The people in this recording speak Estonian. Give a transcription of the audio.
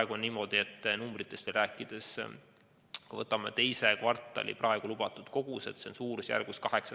Kui veel numbritest rääkida, siis praegu on niimoodi, et teiseks kvartaliks on lubatud umbes 800 000 doosi kolme kuu peale kokku.